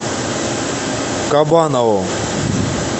кабанову